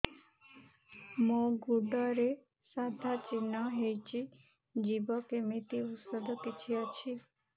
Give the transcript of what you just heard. ମୋ ଗୁଡ଼ରେ ସାଧା ଚିହ୍ନ ହେଇଚି ଯିବ କେମିତି ଔଷଧ କିଛି ଅଛି